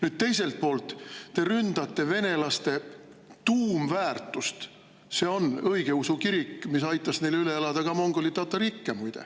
" Nüüd, teiselt poolt te ründate venelaste tuumväärtust, see on õigeusu kirik, mis muide aitas neil üle elada ka mongoli-tatari ikke.